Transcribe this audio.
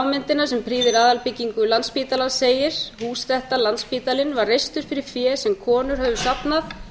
við lágmyndina sem prýðir aðalbyggingu landspítalans segir hús þetta landspítalinn var reist fyrir fé sem konur höfðu safnað